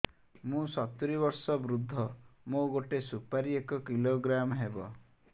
ମୁଁ ସତୂରୀ ବର୍ଷ ବୃଦ୍ଧ ମୋ ଗୋଟେ ସୁପାରି ଏକ କିଲୋଗ୍ରାମ ହେବ